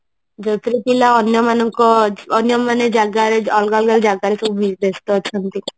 ଯୋଉଥିରେ ପିଲା ମାନଙ୍କ ଅନ୍ୟମାନେ ଜାଗାରେ ଅଲଗା ଅଲଗା ଜାଗାରେ ସବୁ ବ୍ୟସ୍ତ ଅଛନ୍ତି